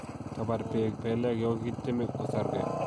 Kabar beek belek lo kotiemei kosorgei